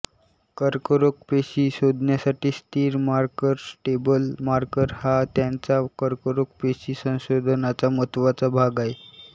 कर्करोग पेशी शोधण्यासाठी स्थिर मार्कर स्टेबल मार्कर हा त्यांच्या कर्करोग पेशी संशोधनाचा महत्त्वाचा भाग आहे